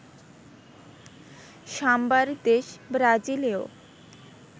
সাম্বার দেশ ব্রাজিলেও